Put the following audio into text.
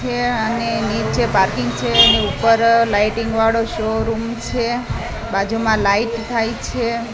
છે અને નીચે પાર્કિંગ છે અને ઉપર લાઈટિંગ વાળો શોરૂમ છે બાજુમાં લાઇટ થાઈ છે.